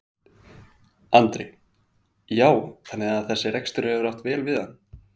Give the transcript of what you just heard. Andri: Já þannig að þessi rekstur hefur átt vel við hann?